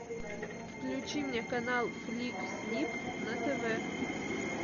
включи мне канал флик снип на тв